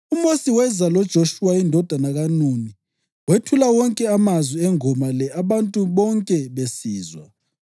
UMosi weza loJoshuwa indodana kaNuni wethula wonke amazwi engoma le abantu bonke besizwa.